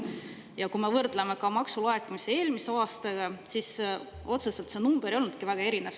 Ja kui me võrdleme maksulaekumisi eelmise aastaga, siis otseselt see number ei olnudki väga erinev.